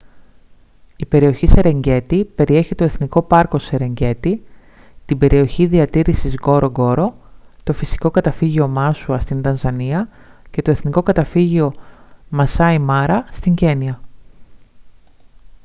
η περιοχή σερενγκέτι περιέχει το εθνικό πάρκο σερενγκέτι την περιοχή διατήρησης νγκορονγκόρο το φυσικό καταφύγιο μάσουα στην τανζανία και το εθνικό καταφύγιο μασάι μάρα στην κένυα